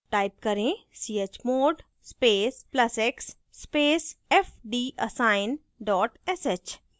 type करें: chmod space plus x space fdassign dot sh